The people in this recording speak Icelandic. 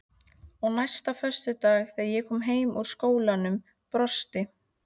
Og næsta föstudag þegar ég kom heim úr skólanum brosti